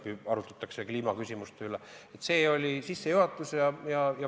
Kui arutatakse kliimaküsimuste üle, siis öeldakse, et see oli sissejuhatus.